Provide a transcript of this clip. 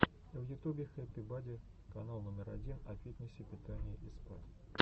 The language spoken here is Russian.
в ютубе хэппи бади канал номер один о фитнесе питании и спа